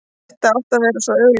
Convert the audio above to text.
Þetta átti að vera svo augljóst.